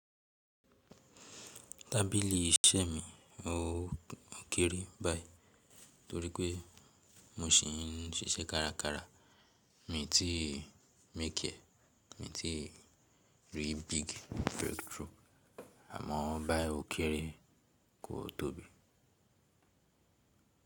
Tábìlì iṣẹ́ mi ó kéré báyìí torí pé mo ṣìń ṣiṣẹ́ kárakára. Mi tí ń makiẹ́, mi tí ń rí big breakthrough, à man báyìí ó kéré kò tóbi.